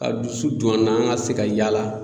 A dusu don an na an ŋa se ka yaala